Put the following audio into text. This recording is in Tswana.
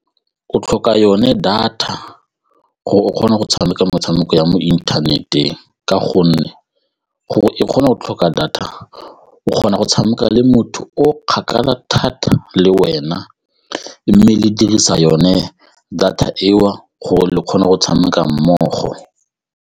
O tlhoka yone data gore o kgona go tshameka metshameko ya mo inthaneteng ka gonne gore e kgona go tlhoka data o kgona go tshameka le motho o kgakala thata le wena mme le dirisa yone data eo gore le kgone go tshameka mmogo.